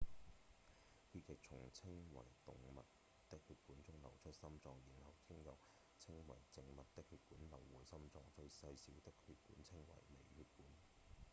血液從稱為動脈的血管中流出心臟然後經由稱為靜脈的血管流回心臟最細小的血管稱為微血管